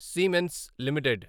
Siemens limited